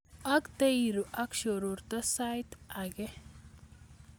Ak teirue ak shororto sait age